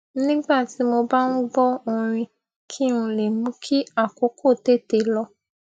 nígbà tí mo bá ń gbó orin kí n lè mú kí àkókò tètè lọ